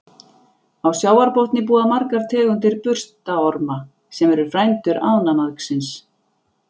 Á sjávarbotni búa margar tegundir burstaorma, sem eru frændur ánamaðksins.